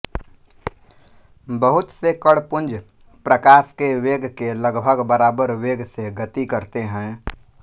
बहुत से कण पुंज प्रकाश के वेग के लगभग बराबर वेग से गति करते हैं